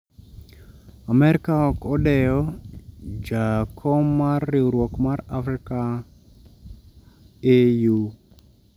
Amerka 'ok odewo' ja kom mar riwruok mar Afrka AU